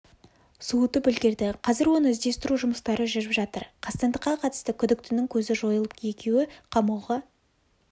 суытып үлгерді қазір оны іздестіру жұмыстары жүріп жатыр қастандыққа қатысты күдіктінің көзі жойылып екеуі қамауға